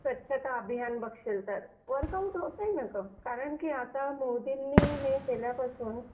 स्वच्छता अभियान बघशील तर वर्कआउट होतंय ना ग कारण की आता मोदींनी हे केल्यापासून